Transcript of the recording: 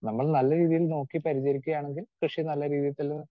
speaker 2 നമ്മൾ നല്ല രീതിയിൽ നോക്കി പരിചരിക്കുകയാണെങ്കിൽ കൃഷി നല്ല രീതിയില്